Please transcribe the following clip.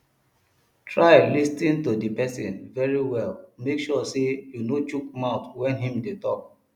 try lis ten to di persin very well make sure say you no shook mouth when im de talk